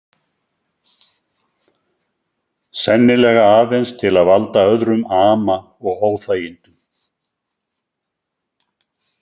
Sennilega aðeins til að valda öðrum ama og óþægindum.